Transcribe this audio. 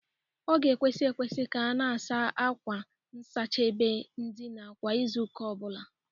Ọ ga-ekwesi ekwesi ka a na-asa akwa nsachị ebe ndịna kwa Izuụka ọ bụla